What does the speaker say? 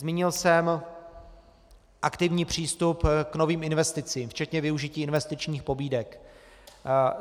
Zmínil jsem aktivní přístup k novým investicím, včetně využití investičních pobídek.